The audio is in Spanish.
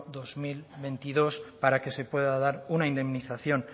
dos mil veintidós para que se pueda dar una indemnización